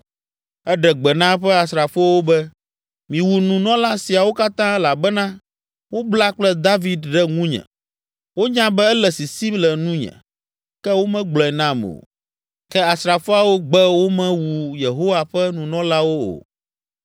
Eɖe gbe na eƒe asrafowo be, “Miwu nunɔla siawo katã elabena wobla kple David ɖe ŋunye; wonya be ele sisim le nunye, ke womegblɔe nam o!” Ke asrafoawo gbe womewu Yehowa ƒe nunɔlawo o.